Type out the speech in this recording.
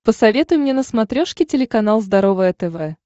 посоветуй мне на смотрешке телеканал здоровое тв